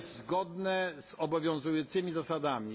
To jest zgodne z obowiązującymi zasadami.